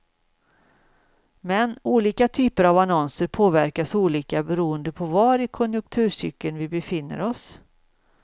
Men olika typer av annonser påverkas olika beroende på var i konjunkturcykeln vi befinner oss.